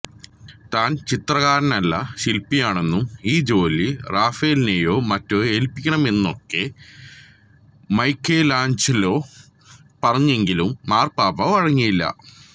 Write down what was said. താൻ ചിത്രകാരനല്ല ശില്പിയാണെന്നും ഈ ജോലി റാഫേലിനെയോ മറ്റോ ഏല്പ്പിക്കണമെന്നുമൊക്കെ മൈക്കെലാഞ്ചലോ പറഞ്ഞെങ്കിലും മാർപ്പാപ്പാ വഴങ്ങിയില്ല